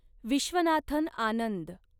Viswanathan Anand